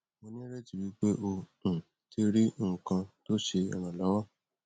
mo nireti wipe o um ti ri nkan to se iranlowo